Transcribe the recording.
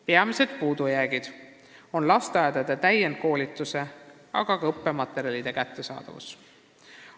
Peamised puudujäägid lasteaedades on seotud täienduskoolituse, aga ka õppematerjalide kättesaadavusega.